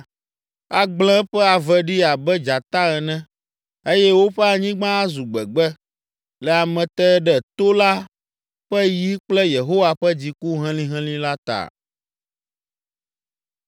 Agblẽ eƒe ave ɖi abe dzata ene, eye woƒe anyigba azu gbegbe le ameteɖetola ƒe yi kple Yehowa ƒe dziku helĩhelĩ la ta.